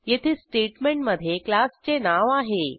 येथे स्टेटमेंटमधे क्लासचे नाव आहे